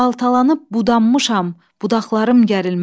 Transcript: Baltalanıb budanmışam, budaqlarım gərilməz.